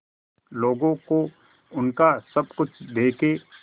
लोगों को उनका सब कुछ देके